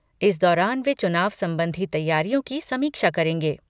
इस दौरान वे चुनाव संबंधी तैयारियों की समीक्षा करेंगे।